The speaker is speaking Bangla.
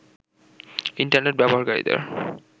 ইন্টারনেট ব্যবহারকারীদের